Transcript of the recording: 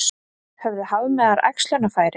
Höfðu hafmeyjar æxlunarfæri?